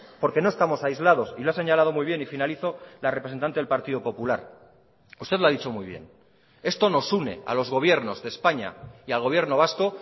porque no estamos aislados y lo ha señalado muy bien y finalizo la representante del partido popular usted lo ha dicho muy bien esto nos une a los gobiernos de españa y al gobierno vasco